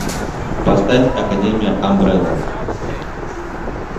поставь академия амбрелла